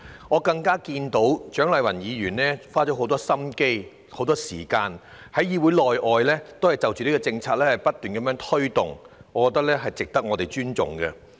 我亦看到蔣麗芸議員花了很多心思和時間，在議會內外不斷推動這項政策，我認為她的努力值得尊重。